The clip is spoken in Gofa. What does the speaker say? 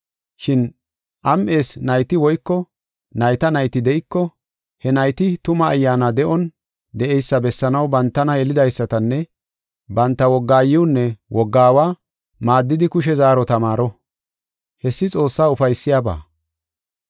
Shin am7ees nayti woyko nayta nayti de7iko, he nayti tuma ayyaana de7on de7eysa bessanaw bantana yelidaysatanne, banta wogga aayiwunne wogga aawa maaddidi kushe zaaro tamaaro. Hessi Xoossaa ufaysiyabaa.